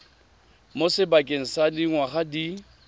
mo sebakeng sa dingwaga di